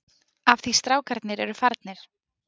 Af því strákarnir eru farnir.